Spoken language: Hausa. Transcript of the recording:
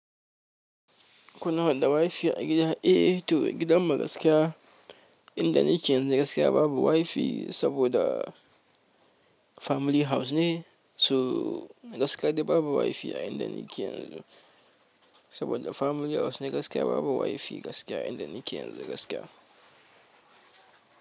Kuna da wifi a gida? Eh to gidan mu gaskiya inda nake yanzu gaskiya babu wifi saboda family house ne. So gaskiya dai babu wifi a inda nake yanzu saboda family house ne gaskiya babu wifi gaskiya a inda nake yanzu gaskiya.